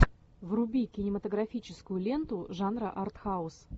вруби кинематографическую ленту жанра артхаус